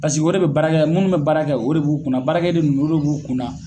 Pasiki o de bɛ baara yan minnu bɛ baara kɛ yan o de b'u kunna baarakɛ den ninnu o de b'u kun na.